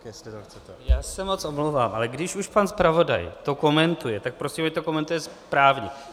Já se moc omlouvám, ale když už pan zpravodaj to komentuje, tak prosím, ať to komentuje správně.